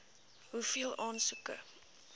hoeveel aansoeke